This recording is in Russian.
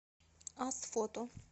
асфото